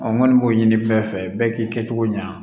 n kɔni b'o ɲini bɛɛ fɛ bɛɛ k'i kɛcogo ɲɛ